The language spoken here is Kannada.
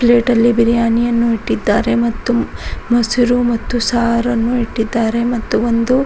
ಪ್ಲೇಟಲ್ಲಿ ಬಿರಿಯಾನಿಯನ್ನು ಇಟ್ಟಿದ್ದಾರೆ ಮತ್ತು ಮೊಸರು ಮತ್ತು ಸಾರನ್ನು ಇಟ್ಟಿದ್ದಾರೆ ಮತ್ತು ಒಂದು --